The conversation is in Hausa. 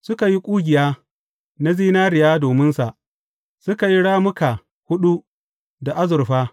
Suka yi ƙugiya na zinariya dominsa, suka yi rammuka huɗu da azurfa.